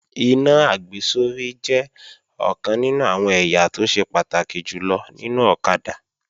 Iná àgbésórí jẹ́ ọ̀kan nínú àwọn ẹ̀yà tó ṣe pàtàkì jùlọ nínú ọ̀kadà